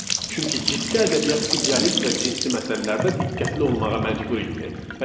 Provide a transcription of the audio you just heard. çünki ciddi ədəbiyyat idealist və cinsi məsələlərdə diqqətli olmağa məcbur idi.